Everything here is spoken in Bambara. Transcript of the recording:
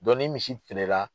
ni misi feerela.